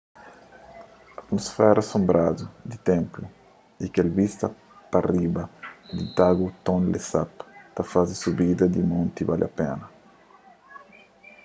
atumusfera sonbradu di ténplu y kel vista pa riba di lagu tonle sap ta faze subida di monti bali pena